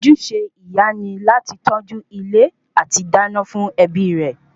Ojúṣe ìyá ni láti tọ́jú ilé àti dá iná fún ẹbí rẹ